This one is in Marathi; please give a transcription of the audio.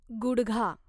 गुडघा